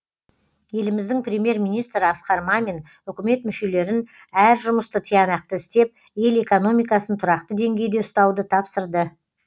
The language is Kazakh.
еліміздің премьер министрі асқар мамин үкімет мүшелерін әр жұмысты тиянақты істеп ел экономикасын тұрақты деңгейде ұстауды тапсырды